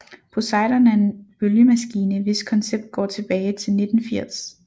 Poseidon er en bølgemaskine hvis koncept går tilbage til 1980